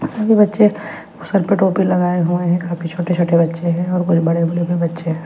सभी बच्चे सर पे टोपी लगाए हुए हैं काफी छोटे-छोटे बच्चे हैं और कुछ बड़े-बड़े भी बच्चे हैं।